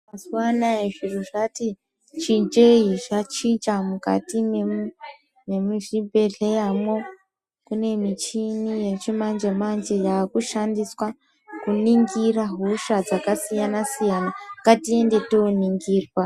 Mazuwa anaya zviro zvati chinjei zvachinja mukati memuzvibhedhleyamwo kune michini yechimanje manje yakushandiswa kuningira hosha dzakasiyana siyana ngatiende toningirwa.